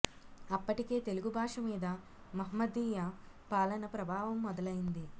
అప్పటికే తెలుగు భాష మీద మహమ్మదీయ పాలన ప్రభావం మొదలైంది